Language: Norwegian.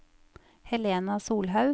Helena Solhaug